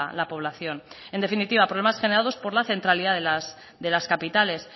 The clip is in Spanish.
la población en definitiva problemas generados por la centralidad de las capitales